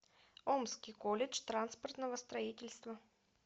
омский колледж транспортного строительства